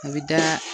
A bɛ da